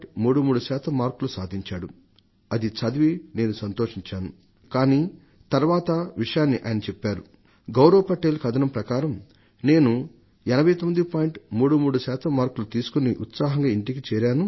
33 శాతం మార్కులు సంపాదించి ఉత్సాహంగా ఇంటికి చేరాను